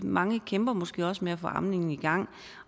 mange kæmper måske også med at få amningen i gang